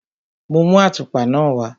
Mo mú àtùpa náà wá.